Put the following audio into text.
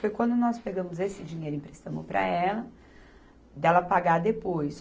Foi quando nós pegamos esse dinheiro e emprestamos para ela, dela pagar depois.